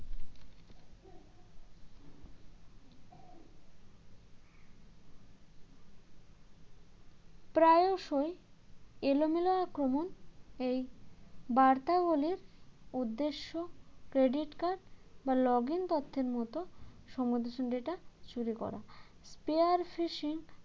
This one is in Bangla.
প্রায়শই এলোমেলো আক্রমণ এই বার্তাগুলির উদ্দেশ্য credit card বা login তথ্যের মতোসংবেদনশীল data চুরি করা pair fishing